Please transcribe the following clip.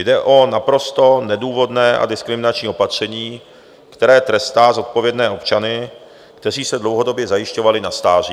Jde o naprosto nedůvodné a diskriminační opatření, které trestá zodpovědné občany, kteří se dlouhodobě zajišťovali na stáří.